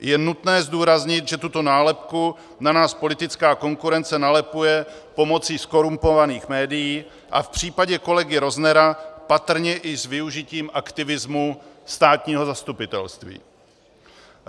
Je nutné zdůraznit, že tuto nálepku na nás politická konkurence nalepuje pomocí zkorumpovaných médií a v případě kolegy Roznera patrně i s využitím aktivismu státního zastupitelství.